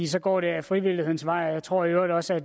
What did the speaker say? så går det ad frivillighedens vej og jeg tror i øvrigt også at